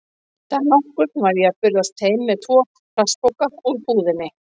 Dag nokkurn var ég að burðast heim með tvo plastpoka úr búðinni.